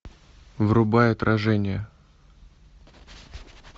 врубай отражение